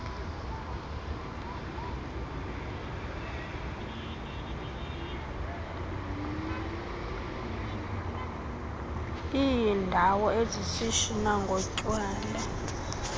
leendawo ezishishina ngotywala